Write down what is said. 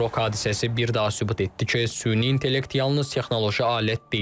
Qrok hadisəsi bir daha sübut etdi ki, süni intellekt yalnız texnoloji alət deyil.